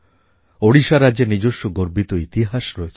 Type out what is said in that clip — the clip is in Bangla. ওড়িশা রাজ্যের নিজস্ব গর্বিত ইতিহাস রয়েছে